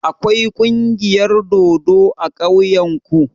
Akwai kungiyar dodo a ƙauyen ku?